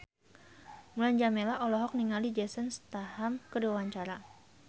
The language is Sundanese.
Mulan Jameela olohok ningali Jason Statham keur diwawancara